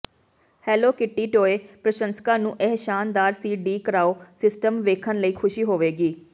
hello Kitty toy ਪ੍ਰਸ਼ੰਸਕਾਂ ਨੂੰ ਇਹ ਸ਼ਾਨਦਾਰ ਸੀ ਡੀ ਕਰਾਓ ਸਿਸਟਮ ਵੇਖਣ ਲਈ ਖੁਸ਼ੀ ਹੋਵੇਗੀ